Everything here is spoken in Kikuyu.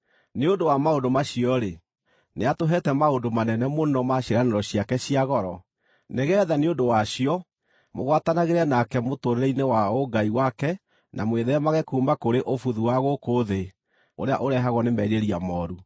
Nĩ ũndũ wa maũndũ macio-rĩ, nĩatũheete maũndũ manene mũno ma ciĩranĩro ciake cia goro, nĩgeetha nĩ ũndũ wacio mũgwatanagĩre nake mũtũũrĩre-inĩ wa ũngai wake na mwĩtheemage kuuma kũrĩ ũbuthu wa gũkũ thĩ ũrĩa ũrehagwo nĩ merirĩria mooru.